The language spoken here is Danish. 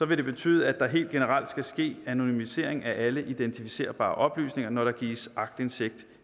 vil det betyde at der helt generelt skal ske anonymisering af alle identificerbare oplysninger når der gives aktindsigt